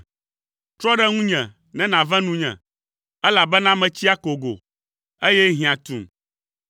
Trɔ ɖe ŋunye ne nàve nunye, elabena metsi akogo, eye hiã tum.